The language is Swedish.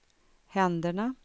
händerna